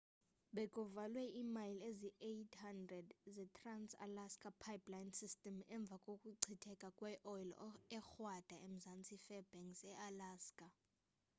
bekuvalwe imayile eziyi-800 ze-trans-alaska pipeline system emva kokuchitheka kweoyile ekrwada emzantsi we-fairbanks ealaska